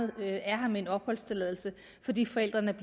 være her med en opholdstilladelse fordi forældrene